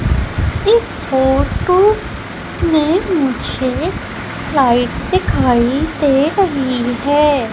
इस फोटो में मुझे लाइट दिखाई दे रही है।